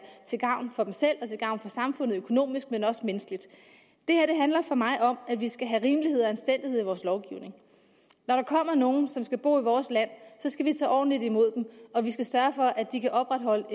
til gavn for selv og til gavn for samfundet økonomisk men også menneskeligt det her handler for mig om at vi skal have rimelighed og anstændighed i vores lovgivning når der kommer nogen som skal bo i vores land skal vi tage ordentligt imod dem og vi skal sørge for at de kan opretholde